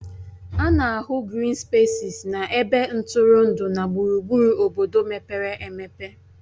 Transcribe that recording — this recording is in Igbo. A na-ahụ grịn spesis na ebe ntụrụndụ na gburugburu obodo mepere emepe